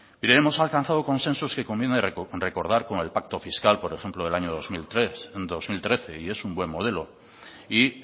mire hemos alcanzado consensos que conviene recordar como el pacto fiscal por ejemplo del año dos mil trece y es un buen modelo y